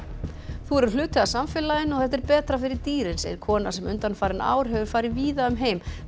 þú verður hluti af samfélaginu og þetta er betra fyrir dýrin segir kona sem undanfarin ár hefur farið víða um heim til